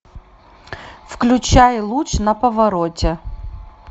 включай луч на повороте